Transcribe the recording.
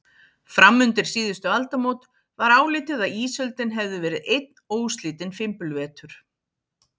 Fram undir síðustu aldamót var álitið að ísöldin hefði verið einn óslitinn fimbulvetur.